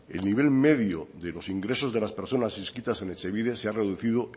el nivel medio de los ingresos de las personas inscritas en etxebide se ha reducido